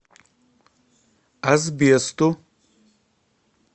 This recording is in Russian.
асбесту